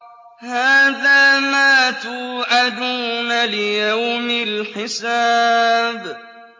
هَٰذَا مَا تُوعَدُونَ لِيَوْمِ الْحِسَابِ